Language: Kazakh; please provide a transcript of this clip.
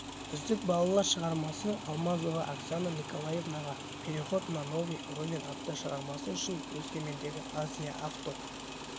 үздік балалар шығармасы алмазова оксана николаевнаға переход на новый уровень атты шығармасы үшін өскемендегі азия авто